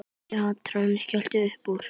Kjartan skellti upp úr.